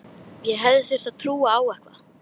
Ég hefði þurft að trúa á eitthvað.